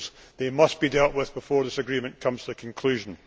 They must be dealt with before this agreement comes to conclusion.